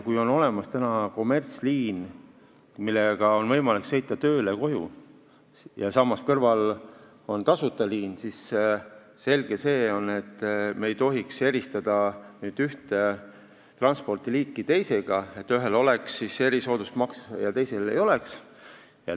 Kui on olemas kommertsliin, millega on võimalik sõita tööle ja koju, ja samas kõrval on tasuta liin, siis on selge, et me ei tohiks eristada ühte transpordiliiki teisest, et ühel oleks erisoodustusmaks ja teisel ei oleks.